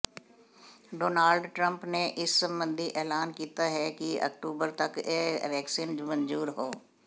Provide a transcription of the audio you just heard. Donald Trump ਨੇ ਇਸ ਸਬੰਧੀ ਐਲਾਨ ਕੀਤਾ ਹੈ ਕਿ ਅਕਤੂਬਰ ਤੱਕ ਇਹ ਵੈਕਸੀਨ ਮਨਜ਼ੂਰ ਹੋ